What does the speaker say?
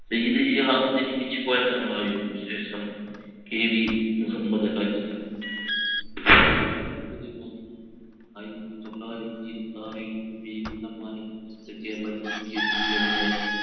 സയ്യിദി ഷിഹാബുദ്ദിൻ കോയ തങ്ങളായിരുന്നു ശേഷം K. V Muhammad Haji ആയിരത്തി തൊള്ളായിരത്തി ഇരുവത്തി ആറിൽ രൂപീകൃതമായ കേരള ജംഈയത്തുൽ ഉലമയുടെ